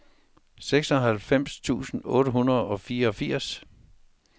seksoghalvfems tusind otte hundrede og fireogfirs